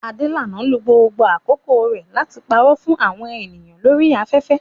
Adelana lo gbogbo àkókò rẹ̀ láti parọ́ fún àwọn ènìyàn lórí afẹ́fẹ́